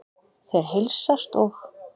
Þeir heilsast og